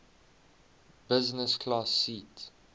business class seat